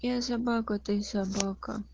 я собака ты собака